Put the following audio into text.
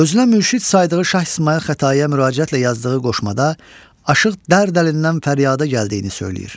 Özünə mürşid saydığı Şah İsmayıl Xətaiyə müraciətlə yazdığı qoşmada Aşıq dərd əlindən fəryada gəldiyini söyləyir.